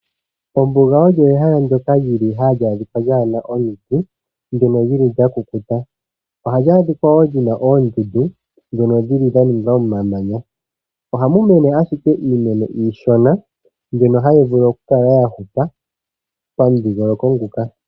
Ombuga olyo ehala ndyoka lyili hali a dhika lyaana omiti, ndyono lyili lya kukuta. Ohali adhika woo lyina oondundu dhono shili dha ninga omamanya, ohamu mene ashike iimeno iishona mbyono hayi vulu oku kala ya hupa pamudhingoloko nguka.